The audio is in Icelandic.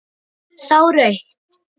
Sá rautt.